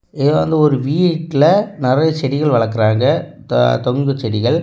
இதுல வந்து ஒரு வீட்ல நிறைய செடிகள் வளக்கறாங்க. த தொங்கு செடிகள்.